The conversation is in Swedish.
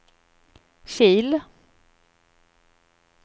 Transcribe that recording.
Kil